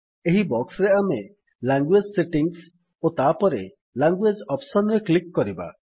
ଏହି ବକ୍ସରେ ଆମେ ଲାଙ୍ଗୁଏଜ୍ ସେଟିଙ୍ଗ୍ସ ଓ ତାପରେ ଲାଙ୍ଗୁଏଜ୍ ଅପ୍ସନ୍ ରେ କ୍ଲିକ୍ କରିବା